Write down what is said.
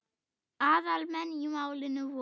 Aðal menn í málinu voru